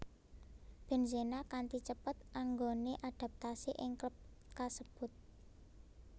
Benzema kanti cepet anggone adaptasi ing klub kasebut